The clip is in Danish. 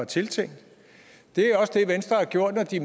tiltænkt det er også det venstre gjorde da de